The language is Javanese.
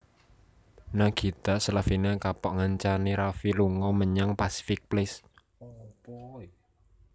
Nagita Slavina kapok ngancani Raffi lunga menyang Pacific Place